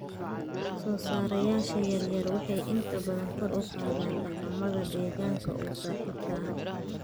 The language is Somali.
Soosaarayaasha yaryar waxay inta badan kor u qaadaan dhaqamada deegaanka u saaxiibka ah.